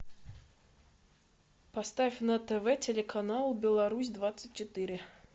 поставь на тв телеканал беларусь двадцать четыре